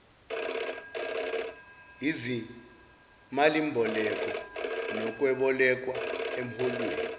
izimalimboleko nokweboleka emholweni